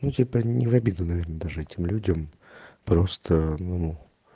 ну типо не в обиду наверное даже этим людям просто ну